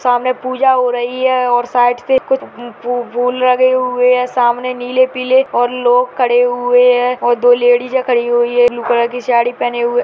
सामने पूजा हो रही है और साइड से कुछ फू-फू फूल लगे हुए है सामने नीले पीले और लोग खड़े हुए है और दो लेडिज खड़ी हुई है ब्लू कलर की साड़ी पहने हुए।